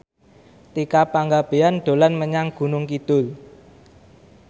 Tika Pangabean dolan menyang Gunung Kidul